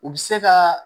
U bɛ se ka